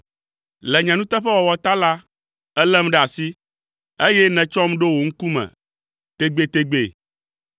Le nye nuteƒewɔwɔ ta la, èlém ɖe asi, eye nètsɔm ɖo wò ŋkume tegbetegbe.